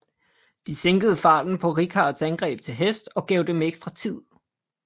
De sænkede farten på Richards angreb til hest og gav dem ekstra tid